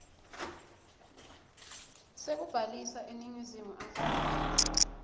sekubhalisa eningizimu afrika